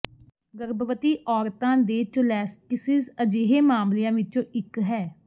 ਗਰਭਵਤੀ ਔਰਤਾਂ ਦੇ ਚੋਲੈਸਟੀਸਿਸ ਅਜਿਹੇ ਮਾਮਲਿਆਂ ਵਿੱਚੋਂ ਇੱਕ ਹੈ